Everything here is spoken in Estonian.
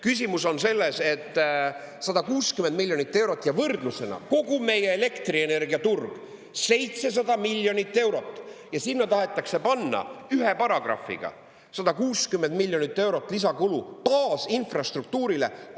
Küsimus on selles, et 160 miljonit eurot ja võrdlusena kogu meie elektrienergiaturg 700 miljonit eurot, ja sinna tahetakse panna ühe paragrahviga 160 miljonit eurot lisakulu baasinfrastruktuurile!